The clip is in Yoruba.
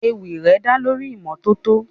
Ewì rẹ̀ dá lórí ìmọ́tótó.